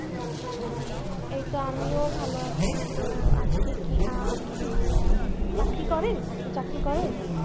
এইতো আমিও ভালো আছি তো আজকে কি আহ আপনি কি চাকরি করেন আপনি চাকরি করেন